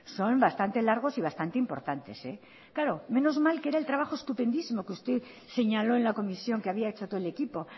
son bastante largos y bastantes importantes menos mal que era el trabajo estupendísimo que usted señaló en la comisión que había hecho todo el equipo